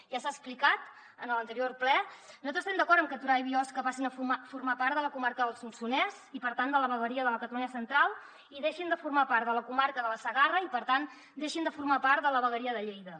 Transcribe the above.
ja s’ha explicat en l’anterior ple nosaltres estem d’acord en que torà i biosca passin a formar part de la comarca del solsonès i per tant de la vegueria de la catalunya central i deixin de formar part de la comarca de la segarra i per tant deixin de formar part de la vegueria de lleida